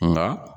Nka